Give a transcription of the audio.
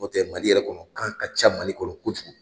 N'o tɛ Mali yɛrɛ kɔnɔ, kan ka ca Mali kɔnɔ kojugu.